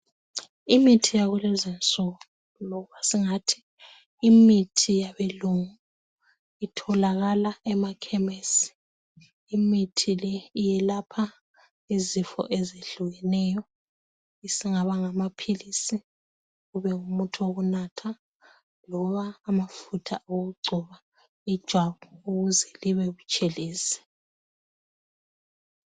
Imithi yakulezi insuku , loba singathi imithi yabelungu , itholakala emakhemisi , imithi le iyelapha izifo ezehlukeneyo isingaba ngamaphilisi, kube ngumuthi wokunatha loba amafutha okugcoba ijwabu ukuze libe butshelezi